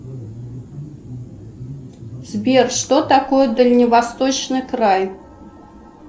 сбер что такое дальневосточный край